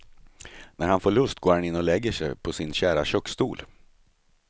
När han får lust går han in och lägger sig på sin kära köksstol.